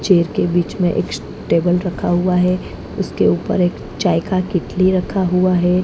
Chair के बीच में एक टेबल रखा हुआ है उसके ऊपर एक चाय का केतली रखा हुआ है।